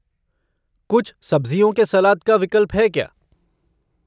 कुछ सब्ज़ियों के सलाद का विकल्प है क्या?